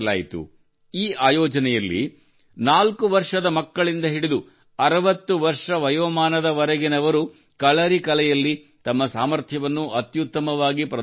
ಈ ಆಯೋಜನೆಯಲ್ಲಿ ನಾಲ್ಕು ವರ್ಷದ ಮಕ್ಕಳಿಂದ ಹಿಡಿದು 60 ವರ್ಷ ವಯೋಮಾನದವರೆಗಿನವರು ಕಲಾರಿ ಕಲೆಯಲ್ಲಿ ತಮ್ಮ ಸಾಮರ್ಥ್ಯವನ್ನು ಅತ್ಯುತ್ತಮವಾಗಿ ಪ್ರದರ್ಶಿಸಿದರು